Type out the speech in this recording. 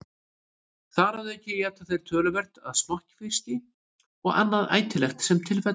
Þar að auki éta þeir töluvert af smokkfiski og annað ætilegt sem til fellur.